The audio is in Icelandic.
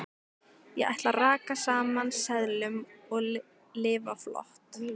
Ég ætla að raka saman seðlum og lifa flott.